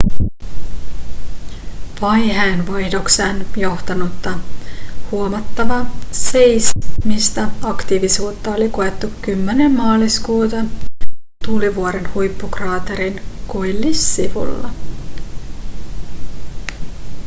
vaiheen vaihdokseen johtanutta huomattava seismistä aktiivisuutta oli koettu 10 maaliskuuta tulivuoren huippukraatterin koillissivulla